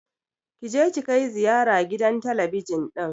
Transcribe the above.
Kije ki kai ziyara gidan talabijin ɗin!